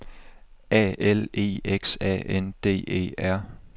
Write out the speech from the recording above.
A L E X A N D E R